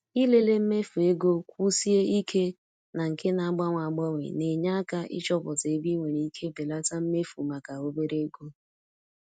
Ịlele mmefu ego kwụsie ike na nke na-agbanwe agbanwe na-enye aka ịchọpụta ebe ị nwere ike belata mmefu maka obere oge.